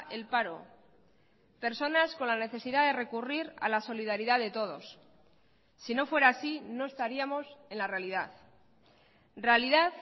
el paro personas con la necesidad de recurrir a la solidaridad de todos si no fuera así no estaríamos en la realidad realidad